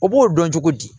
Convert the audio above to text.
O b'o dɔn cogo di